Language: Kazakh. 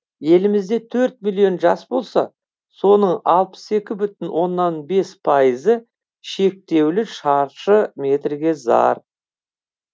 елімізде төрт миллион жас болса соның алпыс екі бүтін оннан бес пайызы шектеулі шаршы метрге зар